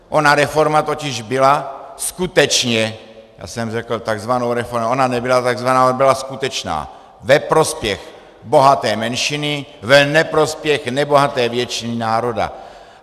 Ona reforma totiž byla skutečně, já jsem řekl takzvaná reforma, ona nebyla takzvaná, ona byla skutečná, ve prospěch bohaté menšiny, v neprospěch nebohaté většiny národa.